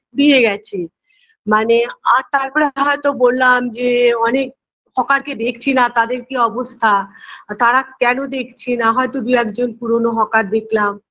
ফুরিয়ে গেছে মানে আর তারপরে হয়তো বললাম যে অনেক hokar কে দেখছিনা তাদের কী অবস্থা তারা কেন দেখছিনা হয়তো দু একজন পুরনো hokar দেখলাম